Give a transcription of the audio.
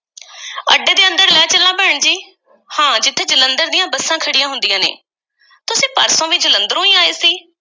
ਹਾਂ, ਜਿੱਥੇ ਜਲੰਧਰ ਦੀਆਂ ਬੱਸਾਂ ਖੜ੍ਹੀਆਂ ਹੁੰਦੀਆਂ ਨੇ। ਤੁਸੀਂ ਪਰਸੋਂ ਵੀ ਜਲੰਧਰੋਂ ਈ ਆਏ ਸੀ?